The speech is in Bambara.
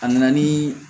A nana nii